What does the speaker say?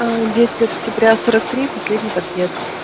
десять лет октября сорок три последний подъезд